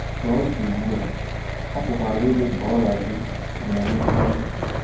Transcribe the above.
Ka ọ dị ugbu a, ọ pụkwara ịdị ka ọrịa gị ọ na - enwe mmeri.